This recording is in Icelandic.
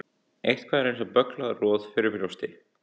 Eitthvað er eins og bögglað roð fyrir brjósti